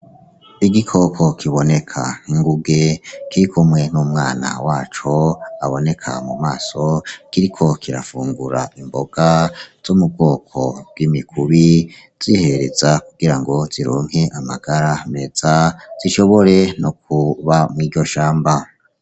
Igikoko kiboneka nk'inguge kirikumwe n'umwana waco aboneka mu maso kiriko kirafungura imboga zo mu bwoko bw'imikubi zihereza kugira ngo zironke amagara meza zishobore no kuba mwiryo shamba.